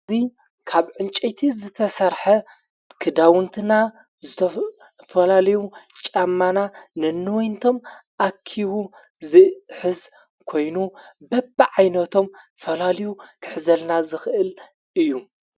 እዙይ ካብ ዕንጨይቲ ዝተሠርሐ ክዳውንትና ዝተፈላልዩ ጫማና ንንወይንቶም ኣኪቡ ዝሕዝ ኮይኑ በብ ዓይነቶም ዝተፈላልዩ ክሕዘልና ዝኽእል እዩ::